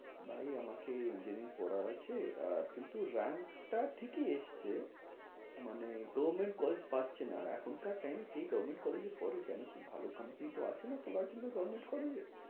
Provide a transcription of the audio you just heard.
ভাই, আমাকে engineering পড়ার আছে, আহ কিন্তু rank টা ঠিকই এসছে, মানে government college পাচ্ছে না আর এখনকার time এ কে government college এ পড়ে কেন কী ভালো company তো আসেনা তোলার জন্য government college এ।